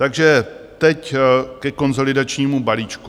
Takže teď ke konsolidačnímu balíčku.